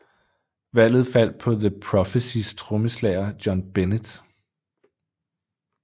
Valget faldt på The Prophecys trommeslager John Bennett